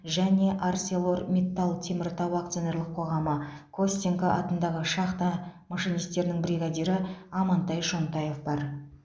және арселормиттал теміртау акционерлік қоғамы костенко атындағы шахта машинистерінің бригадирі амантай шонтаев бар